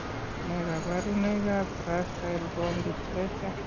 Nee kabarunoikab Gracile bone dysplasia?